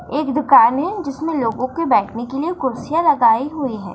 एक दुकान है जिसमें लोगों के बैठने के लिए कुर्सियां लगाएं हुए हैं।